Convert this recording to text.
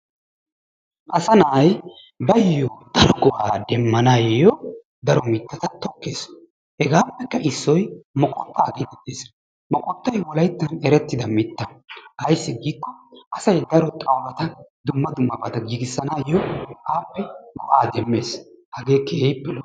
Asaa na'ay baayo daro go'aa demmanaayo daro mitata tokkees, hegaappekka issoy moqottaa geetettees, moqottay wolayttan erettida mitta. ayssi giikko asay daro xawulata Dumma dummabata giigisanaayo appe go'aa demees, hagee keehippe lo''o.